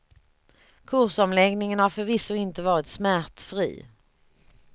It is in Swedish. Kursomläggningen har förvisso inte varit smärtfri.